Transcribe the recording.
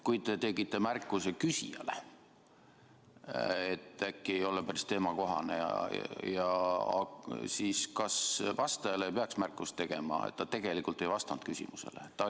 Kui te tegite märkuse küsijale, et äkki küsimus ei ole päris teemakohane, siis kas vastajale ei peaks märkust tegema, et ta tegelikult ei vastanud küsimusele?